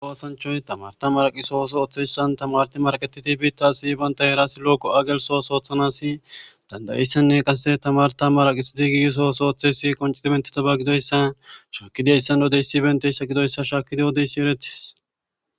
Awoossanchoy tamarta maraqisohoso oththeyssan tamarti marqetitibita si banta herasi looko agelsos oothanasi dandayissanne qase tamarta maraqisidi giisoosooththeysi qoncitimentetaba gidoyssa shakidayssan wodeysi benteyssa gidoyssa shaakidi odeyssi eretis.